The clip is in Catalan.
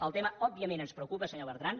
el tema òbviament ens preocupa senyor bertran